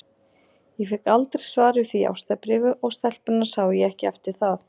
Ég fékk aldrei svar við því ástarbréfi, og stelpuna sá ég ekki eftir það.